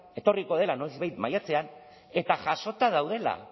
etorriko dela noizbait maiatzean eta jasota daudela